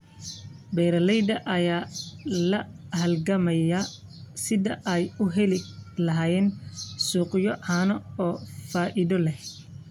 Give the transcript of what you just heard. Beeralayda ayaa la halgamaya sidii ay u heli lahaayeen suuqyo caano oo faa'iido leh.